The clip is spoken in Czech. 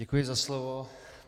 Děkuji za slovo.